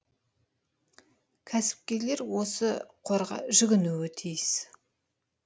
кәсіпкерлер осы қорға жүгінуі тиіс